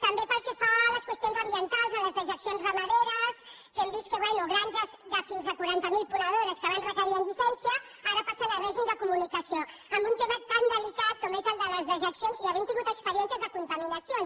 també pel que fa a les qüestions ambientals a les dejeccions ramaderes que hem vist que bé granges de fins a quaranta mil ponedores que abans requerien llicència ara passen a règim de comunicació en un tema tan delicat com és el de les dejeccions i havent tingut experiències de contaminacions